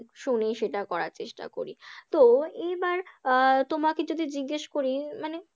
শুনি সেটা করার চেষ্টা করি, তো এইবার আহ তোমাকে যদি জিজ্ঞেস করি, মানে